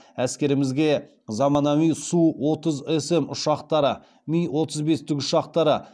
әскерімізге заманауи су отызсм ұшақтары ми отыз бес тікұшақтары